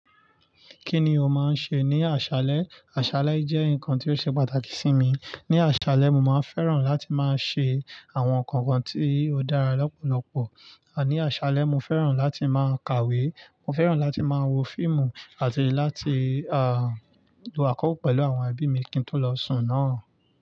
Kí ni o máa ń ṣe ní àṣálẹ́? Àṣálẹ́ jẹ́ nǹkan tí ó ṣe pàtàkì sí mi. Ní àṣálẹ́, mo máa ń fẹ́ràn láti máa ṣe àwọn nǹkan kan tí ó dára lọ́pọ̀lọpọ̀. Ní àṣálẹ́, mo fẹ́ràn láti máa kàwé, mo fẹ́ràn láti máa wo fíìmù àti láti, lo àkókò pẹ̀lú àwọn ẹbí mi kí n tó lọ sùn náà.